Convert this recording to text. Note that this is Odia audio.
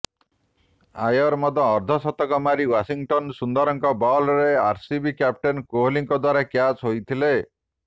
ଆୟର ମଧ୍ୟ ଅର୍ଦ୍ଧଶତକ ମାରି ୱାଶିଂଟନ ସୁନ୍ଦରଙ୍କ ବଲରେ ଆରସିବି କ୍ୟାପଟେନ୍ କୋହଲିଙ୍କ ଦ୍ୱାରା କ୍ୟାଚ୍ ହୋଇଥିଲେ